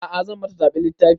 A'a zan ma ta dab'i littafi